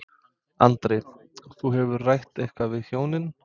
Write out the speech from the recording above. Andri: Þú, hefurðu rætt eitthvað við hjónin?